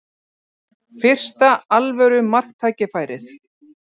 Fyrsta alvöru marktækifærið